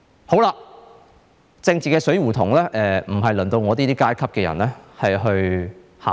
這個政治死胡同輪不到我這個階級的人去考慮。